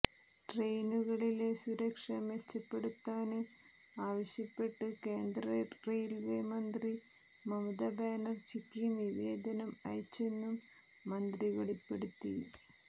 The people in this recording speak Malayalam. ട്രെയിനുകളിലെ സുരക്ഷ മെച്ചപ്പെടുത്താന് ആവശ്യപ്പെട്ട് കേന്ദ്ര റെയില്വേ മന്ത്രി മമതബാനര്ജിക്ക് നിവേദനം അയച്ചെന്നും മന്ത്രി വെളിപ്പെടുത്തി